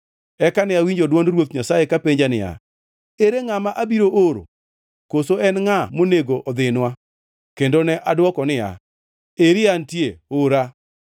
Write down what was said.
Eka ne awinjo dwond Ruoth Nyasaye kapenjo niya, “Ere ngʼama abiro oro? Koso en ngʼa monego odhinwa?” Kendo ne adwoko niya, “Eri antie, ora!”